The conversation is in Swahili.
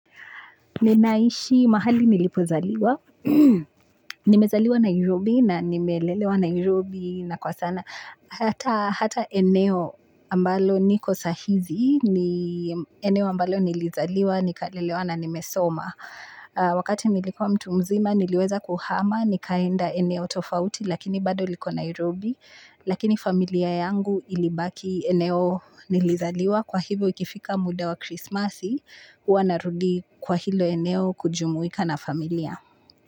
Ninaishi mahali nilipozaliwa. Nimezaliwa Nairobi na nimelelewa Nairobi na kwa sana hata. Hata eneo ambalo niko sahizi. Eneo ambalo nilizaliwa, nikalelewa na nimesoma. Wakati nilikuwa mtu mzima niliweza kuhama nikaenda eneo tofauti lakini bado liko Nairobi. Lakini familia yangu ilibaki eneo nilizaliwa kwa hivyo ikifika muda wa Krismasi huwa narudi kwa hilo eneo kujumuika na familia.